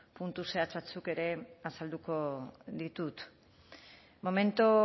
puntu zehatz batzuk ere azalduko ditut momentu